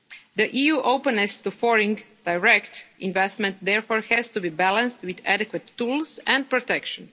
The EU's openness to foreign direct investment therefore has to be balanced with adequate tools and protection.